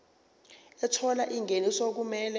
ethola ingeniso okumele